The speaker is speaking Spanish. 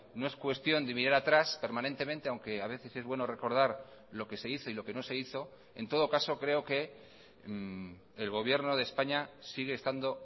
no es cuestión de mirar atrás permanentemente aunque a veces es bueno recordar lo que se hizo y lo que no se hizo en todo caso creo que el gobierno de españa sigue estando